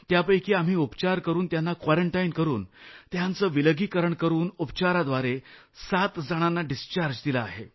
त्यापैकी आम्ही उपचार करून त्यांना क्वारंटाईन करून त्यांचं विलगीकरण करून उपचारांद्वारे 7 जणांना डिस्चार्ज दिला आहे